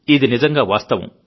ఇది నిజంగా వాస్తవం